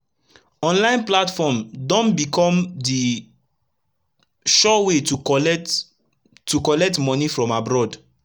online platform don becum d sure way to collect to collect moni from abroad